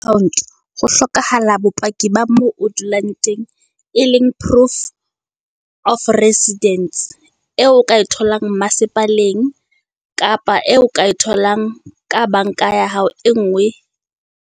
Account ho hlokahala bopaki ba mo o dulang teng, e leng proof of residence. Eo o ka e tholang masepaleng kapa eo o ka e tholang ka bank-a ya hao e ngwe.